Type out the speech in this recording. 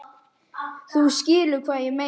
Þú skilur hvað ég meina?